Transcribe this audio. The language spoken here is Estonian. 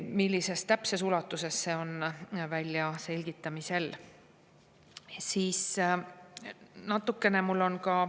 Millises ulatuses täpselt, see on väljaselgitamisel.